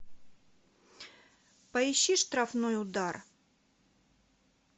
поищи штрафной удар